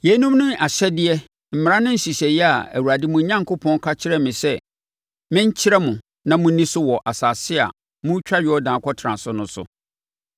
Yeinom ne ahyɛdeɛ, mmara ne nhyehyɛeɛ a Awurade mo Onyankopɔn ka kyerɛɛ me sɛ menkyerɛ mo na monni so wɔ asase a moretwa Yordan akɔtena so no,